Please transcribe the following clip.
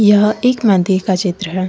यह एक मंदिर का चित्र है।